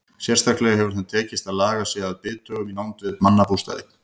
Sérstaklega hefur þeim tekist að laga sig að bithögum í nánd við mannabústaði.